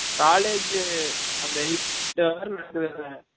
college அந்த eight hour னடக்குதுல்ல